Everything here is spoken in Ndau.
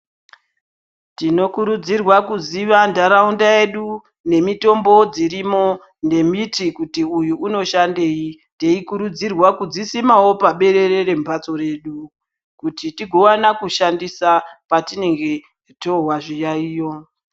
Tinokurudzirwa kuziva ntaraunda yedu nemitombo dzirimo, nemiti kuti uyu unoshandei. Teyikurudzirwa kudzisimawo paberere rembatso redu, kuti tigowana kushandisa patinenge tohwa zviyaiyo.